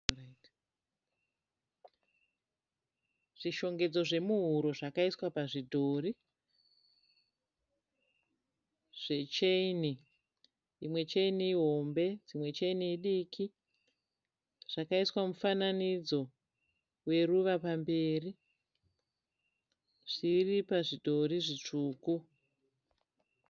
Zvishongedzo zvemuhuro zvakaiswa pazvidhori zvecheni imwe cheni ihombe dzimwe cheni idiki zvakaiswa mufananidzo weruva pamberi zviri pazvidhori zvitsvuku.